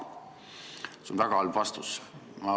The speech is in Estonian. See on väga halb vastus.